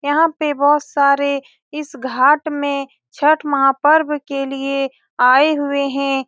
यहाँ पे बहुत सारे इस घाट में छठ महापर्व के लिए आए हुए हैं।